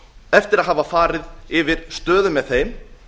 eftir að hafa farið yfir stað með þeim